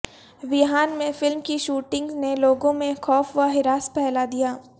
Wuhan میں film کی shooting نے لوگوں میں خوف و ہراس پھیلا دیا